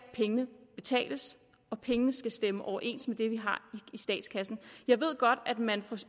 betales og pengene skal stemme overens med det vi har i statskassen jeg ved godt at man fra